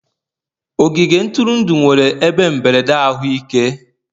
ogige ntụrụndụ nwere ebe mberede ahụike.